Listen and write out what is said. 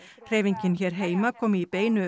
hreyfingin hér heima kom í beinu